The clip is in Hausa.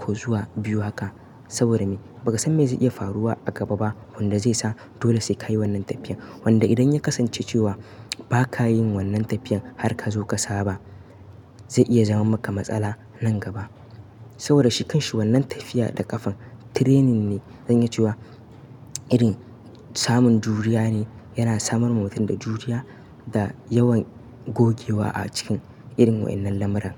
ko zuwa biyu haka saboda me? Baka san me zai iya faruwa a gaba ba wanda zaisa dole saika yi wannan tafiyan. Wanda idan ya kasance cewa ba ka yin wannan tafiyan har ka zo ka saba, zai iya zama maka matsala nan gaba. Saboda shi kanshi wannan tafiya da ƙafan training ne. Zaniya cewa irin samun juriya ne yana samar wa mutum da juriya da yawan gogewa a cikin irin wa'innan lamarin.